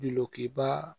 Dulokiba